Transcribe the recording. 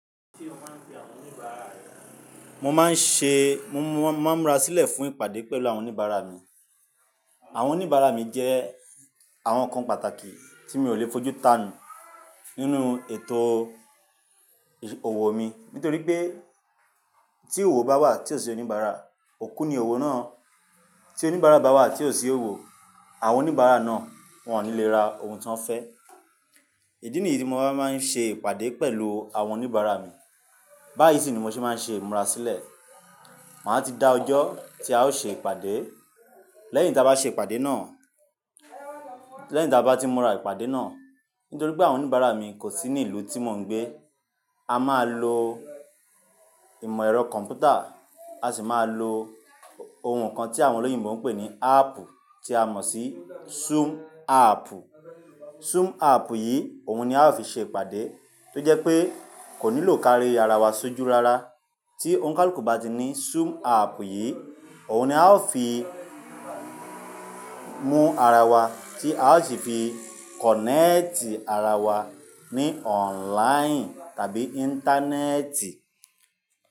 Mo máa ń ṣe, mo máa ń múra sílẹ̀ fún ìpàdé pẹ̀lú àwọn oníbàárà mi. Àwọn oníbàárà mi jẹ́ àwọn kan pàtàkì tí mi ò lè fojú tanù nínú ètò òwò mi. Nítorí pé tí òwò bá wà tí ò sí oníbàárà, òkú ni owó náà. Tí oníbàárà bá wà tí ò sí òwò, àwọn oníbàárà náà wọ́n ò ní lè ra ohun tí wọ́n fẹ́. Ìdí nìyí ti mo wá fi máa ń ṣe ìpàdé pẹ̀lú àwọn oníbàárà mi. Bá yìí sì ni mo ṣe máa ń ṣe ìmúra sílẹ̀. Màá ti da ọjọ́ tí a o ṣe ìpàdé, lẹ́yìn tí a bá ṣe ìpàdé náà, lẹ́yìn tí a bá ti n múra ìpàdé náà. Nítorí pé àwọn oníbàárà mi kò sí ní ìlú tí mò ń gbé. A máa lo ìmọ̀ ẹ̀rọ kọ̀m̀pútà, a sì máa lo ohun kan tí àwọn olóyìnbo ń pè ní áàpù tí a mọ̀ sí Zoom áàpù. Zoom áàpù yìí, òun ni a ó fi ṣe ìpàdé tó jẹ́ pé kò nílò kárí ara wa sójú rara. Tí òǹikàlùkù bá ti ní Zoom áàpù yìí, òun ni a ó fi mú ara wa tí a ó sì fi kọ̀nẹ́ẹ̀tì ara wa ní ọ̀nláín tàbí Íńtánẹ́ẹ̀tì.